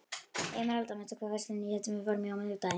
Emeralda, manstu hvað verslunin hét sem við fórum í á miðvikudaginn?